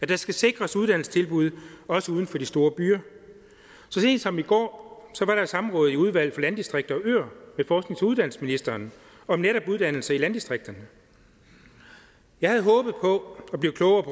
der skal sikres uddannelsestilbud også uden for de store byer så sent som i går var der et samråd i udvalget for landdistrikter og øer med forsknings og uddannelsesministeren om netop uddannelse i landdistrikterne jeg havde håbet på at blive klogere